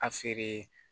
A feere